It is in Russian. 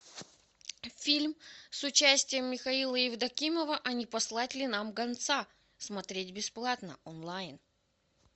фильм с участием михаила евдокимова а не послать ли нам гонца смотреть бесплатно онлайн